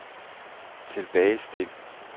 tilbagestil